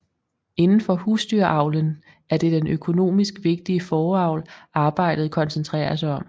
Indenfor husdyravlen er det den økonomisk vigtige fåreavl arbejdet koncentrerer sig om